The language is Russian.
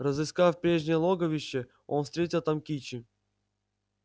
разыскав прежнее логовище он встретил там кичи